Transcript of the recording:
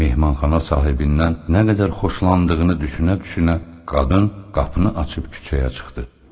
Mehmanxana sahibindən nə qədər xoşlandığını düşunə-düşunə qadın qapını açıb küçəyə çıxdı.